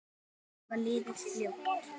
Árin hafa liðið fljótt.